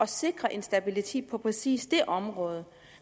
sikre en stabilitet på præcis det område